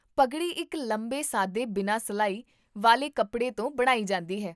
ਪਗੜੀ ਇੱਕ ਲੰਬੇ ਸਾਦੇ ਬਿਨਾਂ ਸਿਲਾਈ ਵਾਲੇ ਕੱਪੜੇ ਤੋਂ ਬਣਾਈ ਜਾਂਦੀ ਹੈ